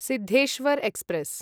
Siddheshwar express